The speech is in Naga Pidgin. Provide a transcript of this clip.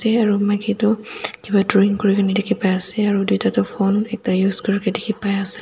maki tu kipa drawing kurikaena dikhipaiase aro tuita toh phone ekta use dikhipaiase.